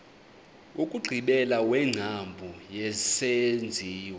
wokugqibela wengcambu yesenziwa